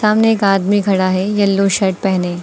सामने एक आदमी खड़ा है येलो शर्ट पहने--